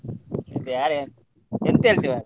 ಯಾರಾ ಎಂತ ಹೇಳ್ತಿಯಾ?